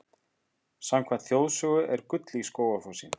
Samkvæmt þjóðsögu er gull í Skógafossi.